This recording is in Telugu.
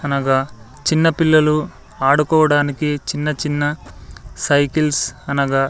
అనగా చిన్న పిల్లలు ఆడుకోవడానికి చిన్న చిన్న సైకిల్స్ అనగా--